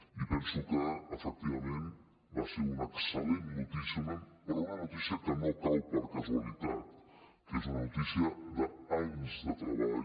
i penso que efectivament va ser una excel·lent notícia però una notícia que no cau per casualitat que és una notícia d’anys de treball